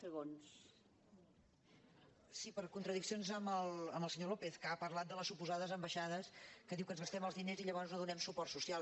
sí per contradiccions amb el senyor lópez que ha parlat de les suposades ambaixades que diu que ens gastem els diners i llavors no donem suport social